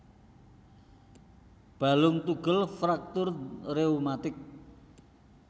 Balung tugel fraktur rheumatik